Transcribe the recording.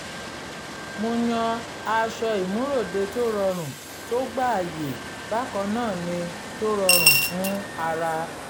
mo yan aṣọ ìmúròde tó rọrùn tó gbáàyè bákan náà ni tó rọrùn fún ara